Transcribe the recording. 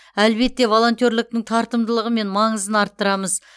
әлбетте волонтерліктің тартымдылығы мен маңызын арттырамыз